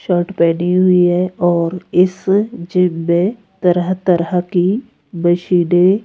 shirt पहनी हुई है और इस जिम में तरह-तरह की मशीनें --